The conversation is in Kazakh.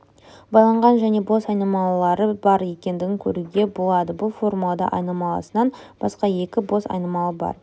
байланған және бос айнымалылары бар екендігін көруге болады бұл формулада айнымалысынан басқа екі бос айнымалы бар